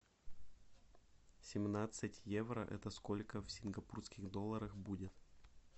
семнадцать евро это сколько в сингапурских долларах будет